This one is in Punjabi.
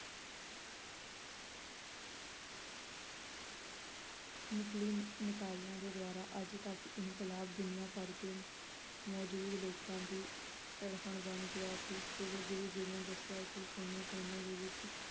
ਨਿਕਲੀ ਨਿਕਾਲੀਆਂ ਦੇ ਦੁਆਰਾ ਅੱਜ ਤੱਕ ਇਨਕਲਾਬ ਦੁਨੀਆਂ ਭਰ ਕੇ ਮੌਜੂਦ ਲੋਕਾਂ ਦੀ ਤੜਫਣ ਬਣ ਗਿਆ ਅਤੇ ਜਦੋਂ ਗੁਰੂ ਜੀ ਨੇ ਦੱਸਿਆ ਕਿ ਕੋਨੇ ਕੋਨੇ ਦੇ ਵਿਚ